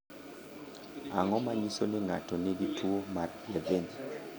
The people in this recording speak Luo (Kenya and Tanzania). Ang’o ma nyiso ni ng’ato nigi tuwo mar Levin?